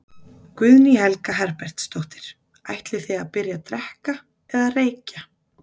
Guðný Helga Herbertsdóttir: Ætlið þið að byrja að drekka eða reykja?